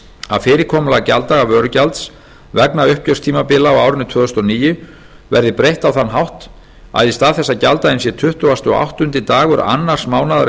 að fyrirkomulag gjalddaga vörugjalds vegna uppgjörstímabila á árinu tvö þúsund og níu verði breytt á þann hátt að í stað þess að gjalddaginn sé tuttugasta og áttundi dagur annars mánaðar